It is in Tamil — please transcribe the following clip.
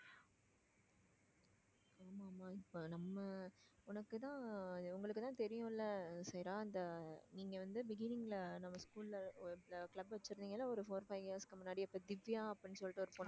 ஆமா ஆமா இப்ப நம்ம உனக்குத்தான் உங்களுக்குதான் தெரியும் இல்ல சேரா அந்த நீங்க வந்து beginning ல நம்ம school ல ஒரு club வெச்சிருந்தீங்கன்னா ஒரு four five years க்கு முன்னாடி இப்ப திவ்யா அப்படின்னு சொல்லிட்டு ஒரு பொண்ணு